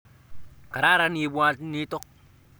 Kararan ibwat nito